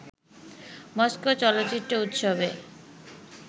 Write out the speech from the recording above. Moscow চলচ্চিত্র উৎসবে